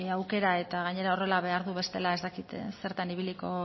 aukera eta gainera horrela behar du bestela ez dakit zertan ibiliko